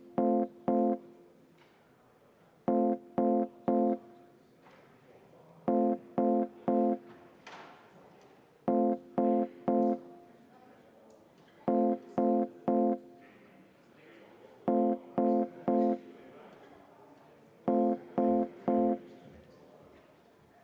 Eelnõu tagasilükkamise poolt on 62 Riigikogu liiget, vastu 19.